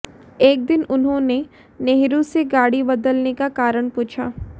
एक दिन उन्होंने नेहरू से गाड़ी बदलने का कारण पूछा